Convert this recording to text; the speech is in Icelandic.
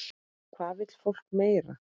Hvað vill fólk meira?